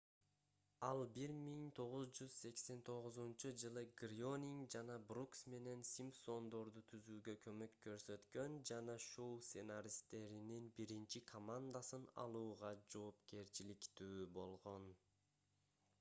ал 1989-жылы грёнинг жана брукс менен симпсондорду түзүүгө көмөк көрсөткөн жана шоу сценаристтеринин биринчи командасын алууга жоопкерчиликтүү болгон